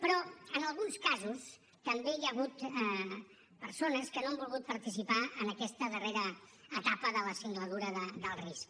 però en alguns casos també hi ha hagut persones que no han volgut participar en aquesta darrera etapa de la singladura d’alt risc